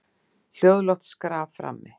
Hljóðlátt skraf frammi.